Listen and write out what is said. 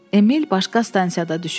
Emil başqa stansiyada düşür.